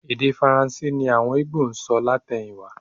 Èdè Faransé ni àwọn Ìgbò ń sọ látẹ̀yìnwá